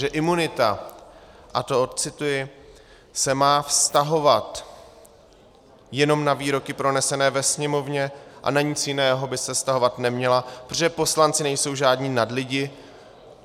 Že imunita - a to odcituji - se má vztahovat jenom na výroky pronesené ve Sněmovně a na nic jiného by se vztahovat neměla, protože poslanci nejsou žádní nadlidi.